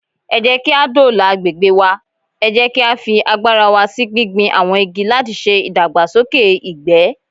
Ẹ jẹ́kí á dóòlà agbègbè wa, ẹ jẹ́ kí á fi agbára wa sí gbígbin àwọn igi látiṣe ìdàgbàsókè ìgbẹ́.